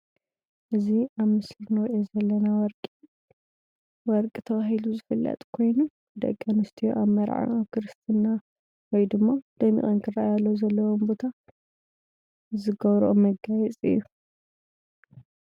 እዚ ኣብ ምስሊ እንርእዩ ዘለና ወርቂ ወርቂ ተባሂሉ ዝፍለጥ ኮይኑ ደቂ ኣነስትዮ ኣብ መርዓ ኣብ ክርሰትና ወይድማ ደሚቀን ክረኣያሉ ኣብ ዘለዎን ቦታ ዝገብረኦ መጋየፂ እዩ።